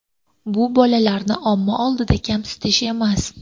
Bu bolalarni omma oldida kamsitish emas.